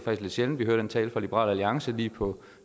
lidt sjældent vi hører den tale fra liberal alliance lige på